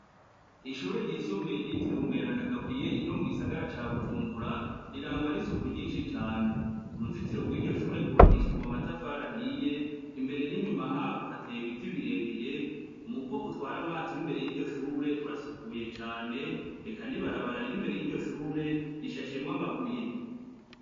Ishuri ryisumbuye ryitiriwe umweranda Gaburiyeri ryo mu gisagara ca Bujumbura rirangwa n'isuku ryishi cane, Uruzitiro rwiryo shure rwubakishijwe amatafari ahiye imbere n'inyuma harwo hateye ibiti birebire umuvo utwara amazi wimbere yiryo shure urasukuye cane eka n'ibarabara riri imbere yiryo shuri rishashemwo amabuye.